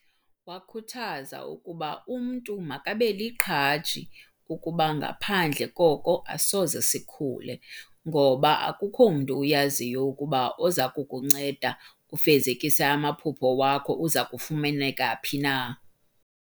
Wakhuthaza ukuba umntu makabeliqhaji kuba ngaphandle koko asoze sikhule, ngoba akukhomntu uyaziyo ukuba umntu ozakukunceda ufezekise amaphupha wakho uzakufumaneka phi na.